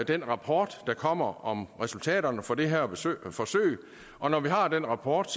den rapport der kommer om resultaterne af det her forsøg og når vi har den rapport